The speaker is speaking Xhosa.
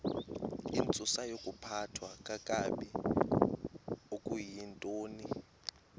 intsusayokuphathwa kakabi okuyintoni